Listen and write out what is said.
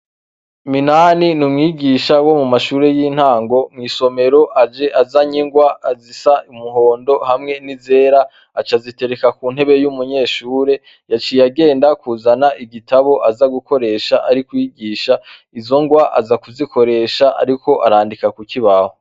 Minani n'umwigisha wo mu mashuri y'intango mw'isomero aje azanye ingwa zisa n'umuhondo hamwe n'izera aca azitereka ku ntebe y'umunyeshuri yaciye agenda kuzana igitabo aza gukoresha mu kwigisha izo ngwa aza kuzikoresha ariko arandika ku kibaho.